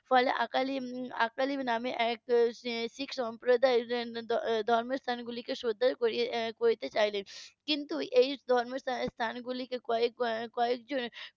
ফলে আকালি নাম এক শিখ সম্প্রদায়ের ধর্ম স্থান গুলিকে শ্রদ্ধা করতে চাইলেন কিন্তু এই ধর্ম স্থান গুলিকে কয়েকবার কয়েকজন